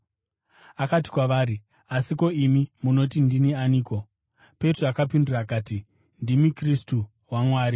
Akati kwavari, “Asi, ko, imi munoti ndini ani?” Petro akapindura akati, “Ndimi Kristu waMwari.”